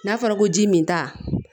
N'a fɔra ko ji min ta